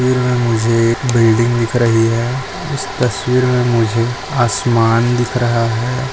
तस्वीर मे मुझे एक बिल्डिंग दिख रही हैं इस तस्वीर मे मुझे आसमान दिख रहा है।